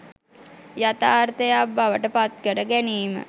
යථාර්ථයක් බවට පත්කර ගැනීම